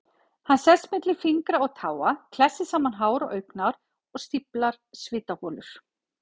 Hann sest milli fingra og táa, klessir saman hár og augnhár, stíflar svitaholur.